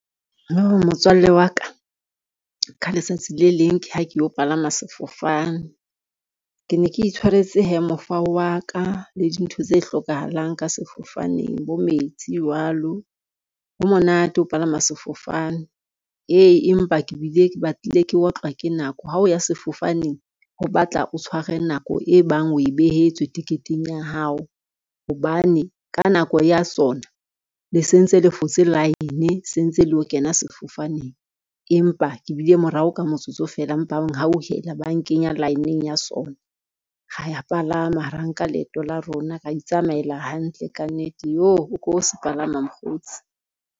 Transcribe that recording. Motswalle wa ka, ka letsatsi le leng ke ha ke yo palama sefofane. Ke ne ke itshwaretse hee mofao wa ka le dintho tse hlokahalang ka sefofaneng bo metsi jwalo. Ho monate ho palama sefofane, ee empa ke bile ke batlile ke otlwa ke nako, ha o ya sefofaneng o batla o tshware nako e bang o e behetswe ticket-eng ya hao hobane, ka nako ya sona le sentse le fotse line sentse le yo kena sefofaneng. Empa ke bile morao ka motsotso feela empa ba nghauhela ba nkenya line-ng ya sona, ra palama ra nka leeto la rona, ra itsamaela hantle ka nnete. Yoh o ko se palama mokgotsi.